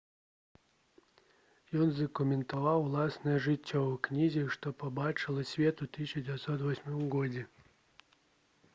ён задакументаваў уласнае жыццё ў кнізе што пабачыла свет у 1998 годзе